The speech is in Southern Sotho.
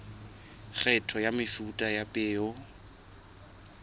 kgetho ya mefuta ya peo